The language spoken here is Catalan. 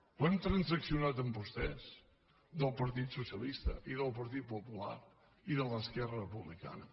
ho hem transaccionat amb vostès del partit socialista i del partit popular i d’esquerra republicana